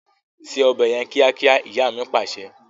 Ṣé ọbẹ̀ yẹn kíákíá! Ìyá mi Pàṣẹ.